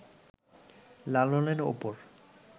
লালনের ওপর